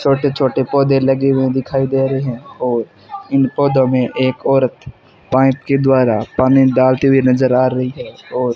छोटे छोटे पौधे लगे हुए दिखाई दे रही है और इन पौधों में एक औरत पाइप के द्वारा पानी डालते हुए नजर आ रही है और --